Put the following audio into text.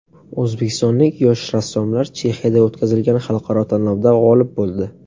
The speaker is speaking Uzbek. O‘zbekistonlik yosh rassomlar Chexiyada o‘tkazilgan xalqaro tanlovda g‘olib bo‘ldi.